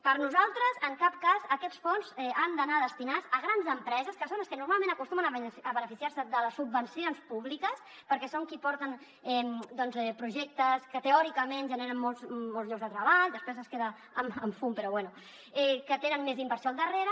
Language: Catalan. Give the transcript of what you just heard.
per nosaltres en cap cas aquests fons han d’anar destinats a grans empreses que són les que normalment acostumen a beneficiar se de les subvencions públiques perquè són les qui aporten projectes que teòricament generen molts llocs de treball després es queda en fum però bé que tenen més inversió al darrere